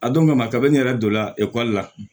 A don kama kabini ne yɛrɛ donna ekɔli la